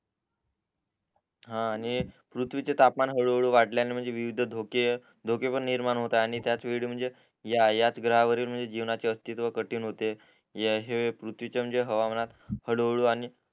हा आणि पृथ्वीचं तापमान हळू हळू वाढल्याने म्हणजे विविध धोके धोके पण निर्माण होतात आणि त्याच वेळी म्हणजे याच ग्रहावरील म्हणजे जीवनाचे अस्थित्व कठीण होते याशिवाय पृथ्वीच्या म्हणजे हवामानात हळू हळू